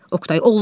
Oqtay, olmaz.